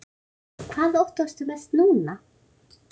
Hvað óttastu mest núna?